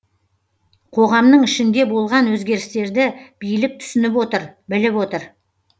қоғамның ішінде болған өзгерістерді билік түсініп отыр біліп отыр